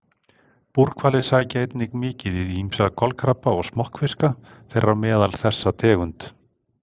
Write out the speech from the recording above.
Búrhvalir sækja einnig mikið í ýmsa kolkrabba og smokkfiska, þeirra á meðal þessa tegund.